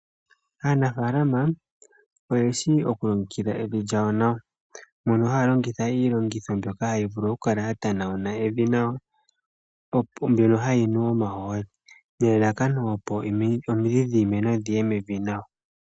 Aanafaalama oyeshi okulongekidha evi lyawo nawa mono haya longitha iilongitho mbyoka hayi vulu okukala yatanawuna evi nawa mbyono hayi nu omahooli, nelalakano opo omidhi dhiimeno dhiye mevi nawa.